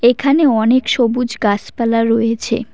এখানে অনেক সবুজ গাসপালা রয়েছে।